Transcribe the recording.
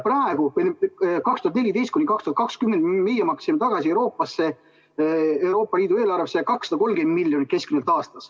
2014–2020 me maksime Euroopa Liidu eelarvesse tagasi keskmiselt 230 miljonit aastas.